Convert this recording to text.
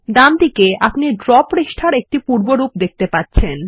ডানদিকে আপনি ড্র পাতার একটি পূর্বরূপ দেখতে পাবেন